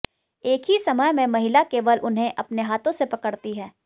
एक ही समय में महिला केवल उन्हें अपने हाथों से पकड़ती है